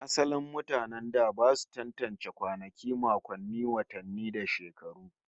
Asalin mutanen da ba su tantance kwanaki, makonni, watanni da shekaru